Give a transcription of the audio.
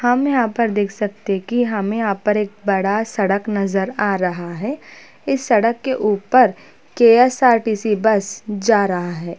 हम यहाँ पर देख सकते है की हमें यहाँ पर एक बड़ा सड़क नजर आ रहा है इस सड़क के ऊपर के_एस_आर_टी_सी बस जा रहा है।